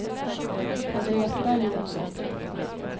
Henrietta Johnsson